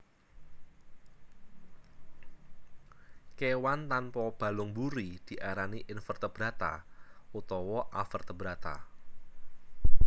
Kewan tanpa balung mburi diarani Invertebrata utawa Avertebrata